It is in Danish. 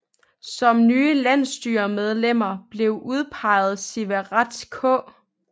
Som nye landsstyremedlemmer blev udpeget Siverth K